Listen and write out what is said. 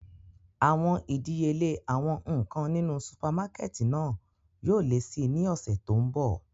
Awọn idiyele awọn nkan ninu supamakẹti náa yóò le si ni ọsẹ to nbọ.